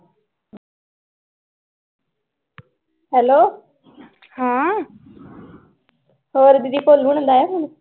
ਹੋਰ ਦੀਦੀ ਭੋਲੂ ਨੂੰ ਲਾਇਆ phone